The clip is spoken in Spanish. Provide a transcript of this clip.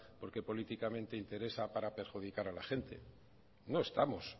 porque políticamente interesa para perjudicar a la gente no estamos